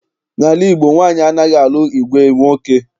N'ala Igbo, nwaanyị anaghị alụ ìgwè nwoke.